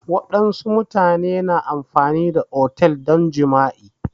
Wassu mutane na amfani da otel don jima'i